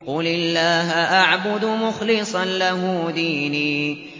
قُلِ اللَّهَ أَعْبُدُ مُخْلِصًا لَّهُ دِينِي